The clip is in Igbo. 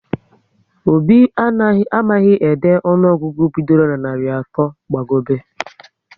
Obi amaghị ede ọnụọgụgụ bidoro na narị atọ gba gobe